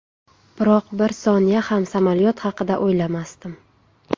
Biroq bir soniya ham samolyot haqida o‘ylamasdim.